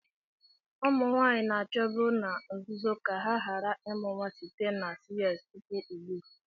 Ụmụ nwanyị na-achọbu na nzuzo ka ha ghara ịmụ nwa site na CS tupu ugbu a.